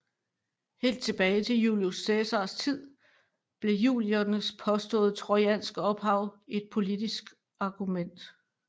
Helt tilbage til Julius Cæsars tid blev juliernes påstående trojanske ophav et politisk argument